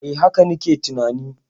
E, haka na ke tunani.